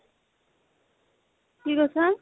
কি কৈছা ?